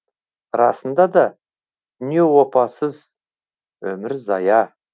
расында да дүние опасыз өмір зая